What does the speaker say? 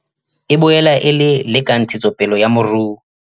E boela e le le ka ntshetsopele ya moruo.